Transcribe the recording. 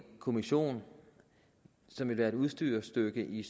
kommission som vil være et udstyrsstykke i